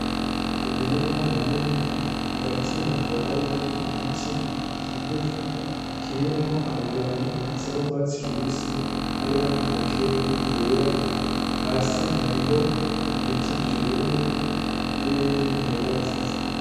Umurima munini ,hagati hakaba harimwo igiti kigufi kirimwo amababi asa n'urwatsi rubisi n'ayandi makeya yera hasi hariho Ibiti vyumye n'ibindi bihagaze.